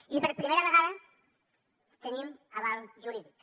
i per primera vegada tenim aval jurídic